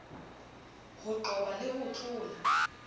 ho qoba le ho tlola